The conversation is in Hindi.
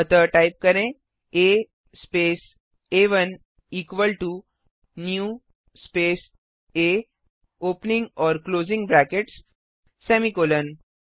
अतः टाइप करें आ स्पेस आ1 इक्वल टो न्यू स्पेस आ ओपनिंग और क्लोजिंग ब्रैकेट्स सेमीकॉलन